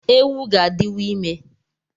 Ewu ga-adịwu ime